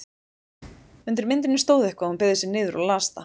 Undir myndinni stóð eitthvað og hún beygði sig niður og las það.